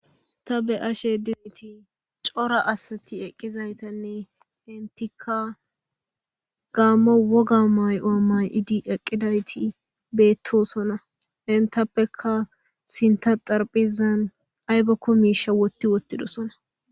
Ta beyashe de'izaysi cora asati eqidaysane entika gamo woga mayuwa mayidi eqidati betosona entappeka sintha xaraphezan aybakon wotti wootidosona